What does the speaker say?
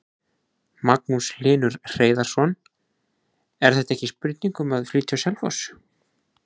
Magnús Hlynur Hreiðarsson: Er þetta ekki spurning um að flytja á Selfoss?